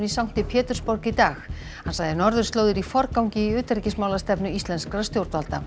í sankti Pétursborg í dag hann sagði norðurslóðir í forgangi í utanríkismálastefnu íslenskra stjórnvalda